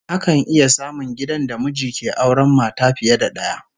Akan iya samun gidan da miji ke auren mata fiye da daya